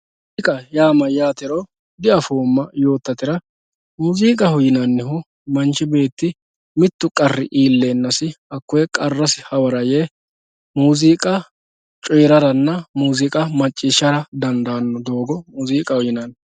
muuziiqaho yaa mayyaatero diafoommona yoottotera muuziiqaho yinannihu manchi beeti mittu qarri iilleennasi hakkoyee qarrasi hawara yee muuziiqa coyiiraranna muuziiqa macciishshara dandaanno doogo muuziiqaho yinanni.